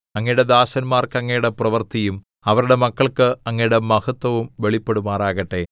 അങ്ങയുടെ ദാസന്മാർക്ക് അങ്ങയുടെ പ്രവൃത്തിയും അവരുടെ മക്കൾക്ക് അങ്ങയുടെ മഹത്വവും വെളിപ്പെടുമാറാകട്ടെ